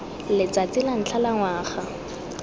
letsatsi la ntlha la ngwaga